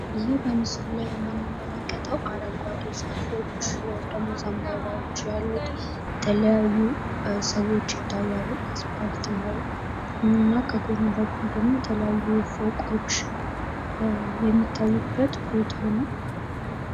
ይህ በምስሉ ላይ የምንመለከተው አረንጓዴ ዛፎች ወይም ደሞ ዘንባባዎች ያሉት ፤ የተለያዩ ሰዎች ይታያሉ ፤ አስፓልት ላይ እና የተለያዩ ፎቆች የሚታዩበት ቦታ ነው።